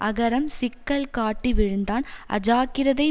அகரம் சிக்கல் காட்டி விழுந்தான் அஜாக்கிரதை